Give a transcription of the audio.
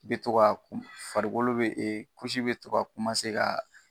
Be to ka kun. Farikolo be , be to ka ka